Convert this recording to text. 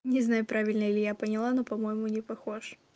не знаю правильно ли я поняла но по-моему не похож